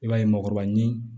I b'a ye mɔgɔkɔrɔba ɲini